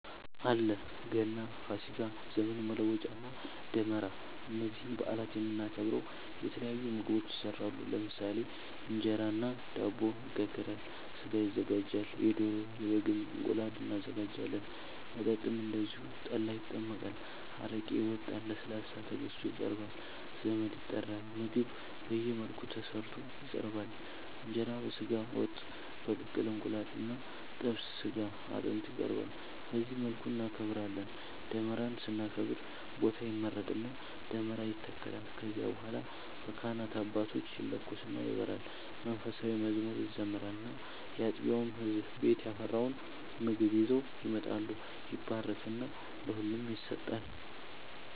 አለ ገና፣ ፋሲካ፣ ዘመን መለወጫ እና ደመራ እነዚህን በአላት የምናከብረው የተለያዩ ምግቦች ይሰራሉ ለምሳሌ እንጀራ እና ዳቦ ይጋገራል፣ ስጋ ይዘጋጃል የዶሮ፣ የበግም፣ እንቁላል እናዘጋጃለን። መጠጥም እንደዚሁ ጠላ ይጠመቃል፣ አረቄ ይወጣል፣ ለስላሳ ተገዝቶ ይቀርባል ዘመድ ይጠራል ምግብ በየመልኩ ተሰርቶ ይቀርባል እንጀራ በስጋ ወጥ፣ በቅቅል እንቁላል እና ጥብስ ስጋ አጥንት ይቀርባል በዚህ መልኩ እናከብራለን። ደመራን ስናከብር ቦታ ይመረጥና ደመራ ይተከላል ከዚያ በኋላ በካህናት አባቶች ይለኮስና ይበራል መንፉሳዊ መዝሙር ይዘመራል እና ያጥቢያው ህዝብ ቤት ያፈራውን ምግብ ይዘው ይመጣሉ ይባረክና ለሁሉም ይሰጣል።